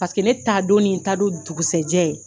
Paseke ne taa don ni ne taa don dugusɛjɛ.